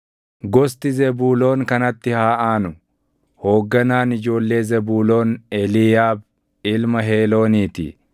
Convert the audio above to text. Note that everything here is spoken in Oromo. Gosti Zebuuloon kanatti haa aanu. Hoogganaan ijoollee Zebuuloon Eliiyaab ilma Heeloonii ti.